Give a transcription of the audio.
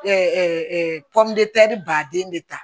baden de ta